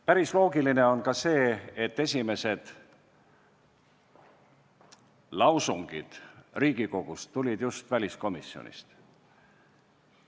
Päris loogiline on ka see, et esimesed lausungid tulid Riigikogus just väliskomisjonist.